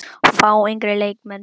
Fá yngri leikmenn séns?